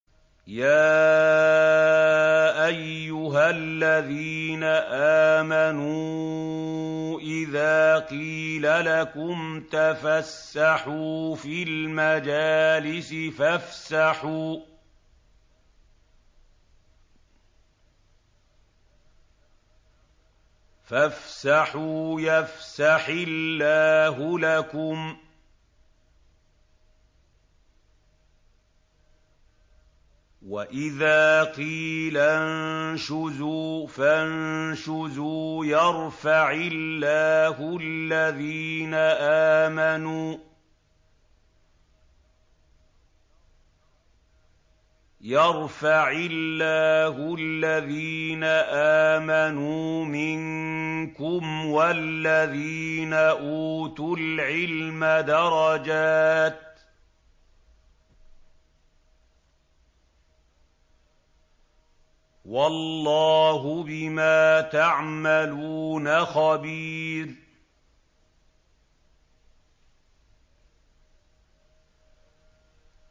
يَا أَيُّهَا الَّذِينَ آمَنُوا إِذَا قِيلَ لَكُمْ تَفَسَّحُوا فِي الْمَجَالِسِ فَافْسَحُوا يَفْسَحِ اللَّهُ لَكُمْ ۖ وَإِذَا قِيلَ انشُزُوا فَانشُزُوا يَرْفَعِ اللَّهُ الَّذِينَ آمَنُوا مِنكُمْ وَالَّذِينَ أُوتُوا الْعِلْمَ دَرَجَاتٍ ۚ وَاللَّهُ بِمَا تَعْمَلُونَ خَبِيرٌ